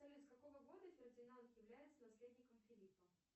салют с какого года фердинанд является наследником филиппа